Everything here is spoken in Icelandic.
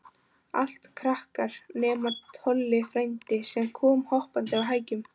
Allt krakkar, nema Tolli frændi, sem kom hoppandi á hækjunum.